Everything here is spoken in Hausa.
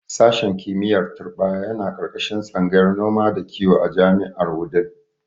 Sashen kimiyyar turɓaya yana ƙarƙashin tsangayar noma da kiwo a jami'ar a Wudil.